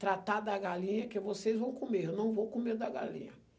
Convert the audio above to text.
Tratar da galinha que vocês vão comer, eu não vou comer da galinha.